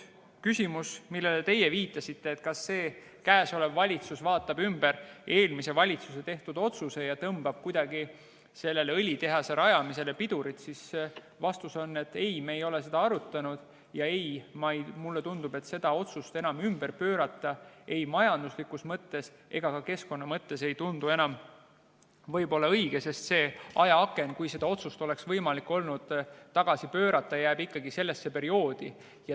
Vastus teie küsimusele, kas praegune valitsus vaatab ümber eelmise valitsuse tehtud otsuse ja tõmbab kuidagi sellele õlitehase rajamisele pidurit, on ei, me ei ole seda arutanud, ja ei, mulle tundub, et seda otsust ümber pöörata ei ole majanduslikus mõttes ega ka keskkonna mõttes enam õige, sest see ajaaken, kui seda otsust oleks olnud võimalik tagasi pöörata, jääb ikkagi varasemasse perioodi.